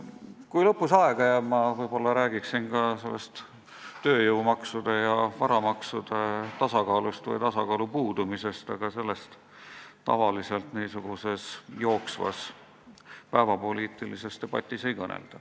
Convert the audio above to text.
Kui aega jääb, siis ma võib-olla räägin ka tööjõumaksude ja varamaksude tasakaalust või selle puudumisest, aga sellest tavaliselt jooksvas päevapoliitilises debatis ei kõnelda.